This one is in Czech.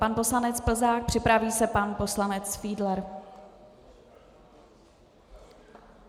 Pan poslanec Plzák, připraví se pan poslanec Fiedler.